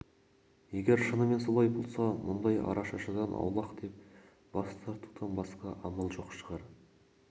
егер шынымен солай болса мұндай арашашыдан аулақ деп бас тартудан басқа амал жоқ шығар